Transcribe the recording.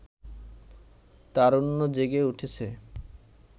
তারুণ্য জেগে উঠেছে